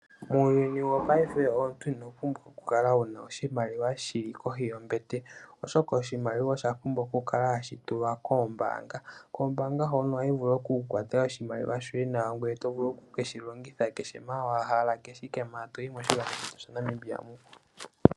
Muuyuni wopaife omuntu ino pumbwa okukala wu na oshimaliwa shi likohi yombete, oshoka oshimaliwa osha pumbwa okukala hashi tulwa koombaanga. Koombaanga hono ohayi vulu oku ku kwatela oshimaliwa shoye nawa ngoye to vulu oku ke shi longitha kehe mpoka wa hala kehe owala mpoka to yi moNamibia muka.